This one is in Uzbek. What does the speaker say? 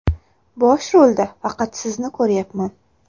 Bosh rolda faqat sizni ko‘ryapman.